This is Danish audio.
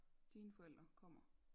Dine forældre kommer